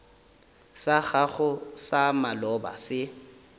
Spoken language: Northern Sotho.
sa gago sa maloba se